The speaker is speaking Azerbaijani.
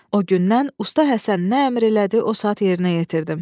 O gündən usta Həsən nə əmr elədi, o saat yerinə yetirdim.